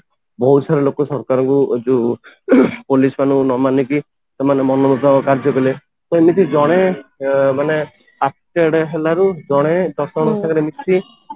ବହୁତ ସାରା ଲୋକ ସରକାରଙ୍କୁ ଯୋଉ ପୋଲିସ ମାନଙ୍କୁ ନ ମାନିକି ସେମାନେ ମନ ମୁତାବକ କାର୍ଯ୍ୟ କଲେ ସେମିତି ଜଣେ ମାନେ affected ହେଲାରୁ ଜଣେ ଦଶ ଜଣଙ୍କ ସାଙ୍ଗରେ ମିଶି